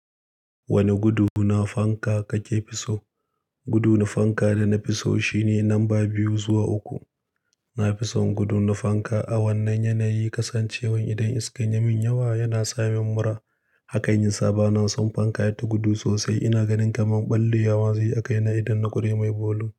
Wane gudu na fanka kake fi so? Gudu na fanka da na fi so shine lamba biyu zuwa uku. Na fi son gudu na fanka a wannan yanayi, kasancewan idan iska ya min yawa yana sa min mura. Hakan yasa bana son fanka yata gudu sosai. Ina ganin kamar ɓallewa ma zai yi a kaina idan na ƙure mai volume.